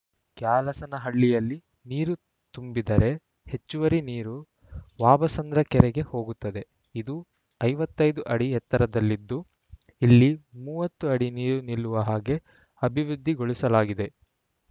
ಕ್ಯಾಲಸನಹಳ್ಳಿಯಲ್ಲಿ ನೀರು ತುಂಬಿದರೆ ಹೆಚ್ಚುವರಿ ನೀರು ವಾಬಸಂದ್ರ ಕೆರೆಗೆ ಹೋಗುತ್ತದೆ ಇದು ಐವತ್ತ್ ಐದು ಅಡಿ ಎತ್ತರದಲ್ಲಿದ್ದು ಇಲ್ಲಿ ಮೂವತ್ತು ಅಡಿ ನೀರು ನಿಲ್ಲುವ ಹಾಗೆ ಅಭಿವೃದ್ಧಿಗೊಳಿಸಲಾಗಿದೆ